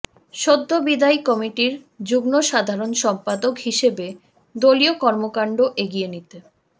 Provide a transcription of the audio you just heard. সদ্যবিদায়ী কমিটির যুগ্ম সাধারণ সম্পাদক হিসেবে দলীয় কর্মকাণ্ড এগিয়ে নিতে